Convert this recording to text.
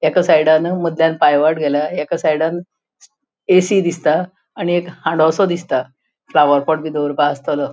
एका सायडान मदल्यान पायवाट गेल्या एका सायडान ऐ.सी. दिसता आणि एक हांडोसों दिसता फ्लावरपोट बी दवरपाक आस्तलो.